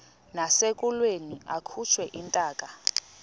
nasekulweni akhutshwe intaka